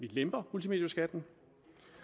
lemper multimedieskatten